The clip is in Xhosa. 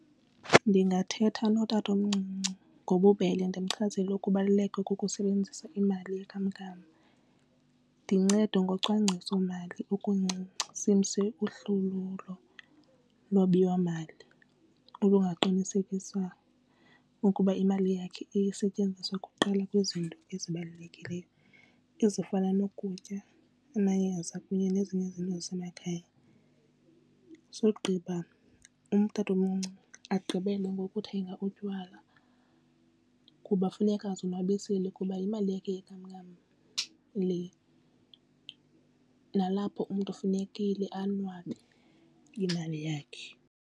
Ndingathetha notatomncinci ngobubele ndimchazele ukubaluleka kokusebenzisa imali yenkamnkam. Ndincede ngocwangcisomali okuncinci simse uhlolo lwabiwomali olungaqinisekisa ukuba imali yakhe isetyenziswa kuqala kwizinto ezibalulekileyo ezifana nokutya amayeza kunye nezinye izinto zamakhaya. Sogqiba utatomncinci agqibele ngokuthenga utywala kuba funeka ezonwabisile kuba imali yakhe yenkamnkam le nalapho umntu kufunekile anwabe yimali yakhe.